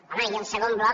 home i el segon bloc